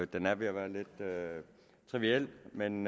den er ved at være lidt triviel men